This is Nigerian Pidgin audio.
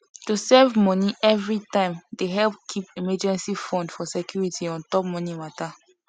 to save money every time dey help keep emergency fund for security on top money matter